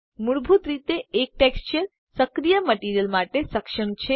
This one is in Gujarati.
મૂળભૂત રીતે એક ટેક્સચર સક્રિય મટીરીઅલ માટે સક્ષમ છે